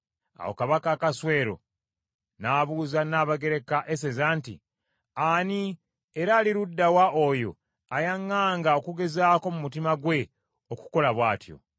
Awo Kabaka Akaswero n’abuuza Nnabagereka Eseza nti, “Ani era ali ludda wa oyo ayaŋŋanga okugezaako mu mutima gwe okukola bw’atyo?”